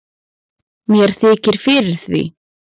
Mér þykir fyrir því.